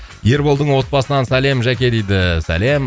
ерболдың отбасынан сәлем жәке дейді сәлем